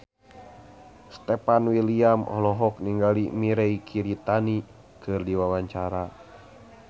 Stefan William olohok ningali Mirei Kiritani keur diwawancara